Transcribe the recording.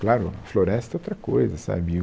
Claro, floresta é outra coisa, sabe?